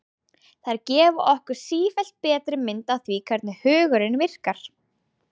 Þær gefa okkur sífellt betri mynd af því hvernig hugurinn virkar.